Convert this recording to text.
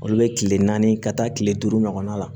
Olu bɛ kile naani ka taa kile duuru ɲɔgɔnna la